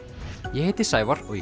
ég heiti Sævar og í